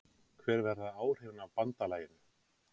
Hver verða áhrifin af BANDALAGINU?